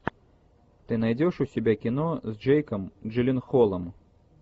ты найдешь у себя кино с джейком джилленхолом